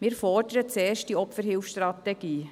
Wir fordern zuerst die Opferhilfestrategie.